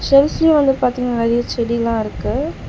வந்து பாத்தீங்னா நெறைய செடிலா இருக்கு.